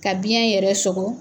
Ka biyɛn yɛrɛ sɔgɔ